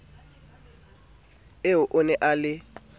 eo a ne a le